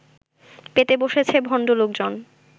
পেতে বসেছে ভণ্ড লোকজন